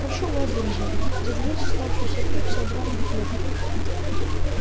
прошу вас друзья загоните оставшихся пикси обратно в клетку